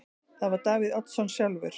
Það var Davíð Oddsson sjálfur.